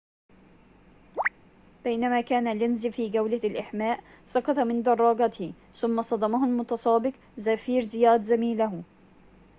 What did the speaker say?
بينما كان لينز في جولة الإحماء سقط من دراجته ثم صدمه المتسابق زافيير زيات زميله